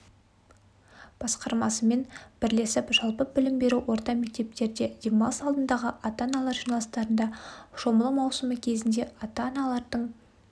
басқармасымен бірлесіп жалпы білім беру орта мектептерде демалыс алдындағы ата-аналар жиналыстарында шомылу маусымы кезінде ата-аналардың